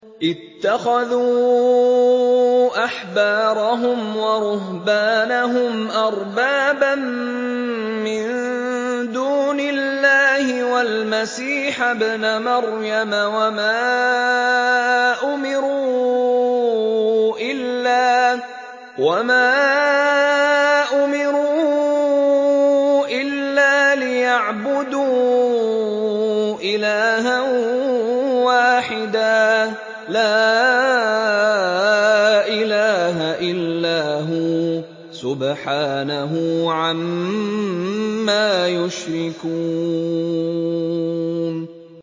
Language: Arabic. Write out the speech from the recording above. اتَّخَذُوا أَحْبَارَهُمْ وَرُهْبَانَهُمْ أَرْبَابًا مِّن دُونِ اللَّهِ وَالْمَسِيحَ ابْنَ مَرْيَمَ وَمَا أُمِرُوا إِلَّا لِيَعْبُدُوا إِلَٰهًا وَاحِدًا ۖ لَّا إِلَٰهَ إِلَّا هُوَ ۚ سُبْحَانَهُ عَمَّا يُشْرِكُونَ